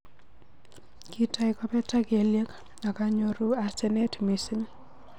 Kitoi kobetak kelyek ak anyoru asenet mising.